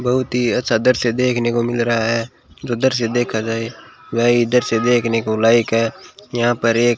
बहुत ही अच्छा दृश्य देखने को मिल रहा है जो दृश्य देखा जाए वही दृश्य देखने को लाइक है यहां पर एक --